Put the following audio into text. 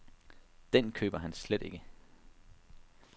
Den køber han slet ikke.